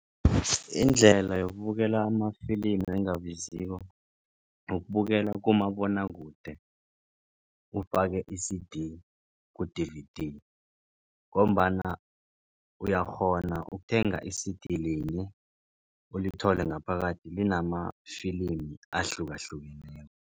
Indlela yokubukela amafilimi engabiziko ukubukela kumabonwakude ufake i-C_D ku-D_V_D ngombana uyakghona ukuthenga i-C_D linye ulithole ngaphakathi linamafilimi ahlukahlukeneko.